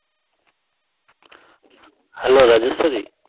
hello Rajeshwari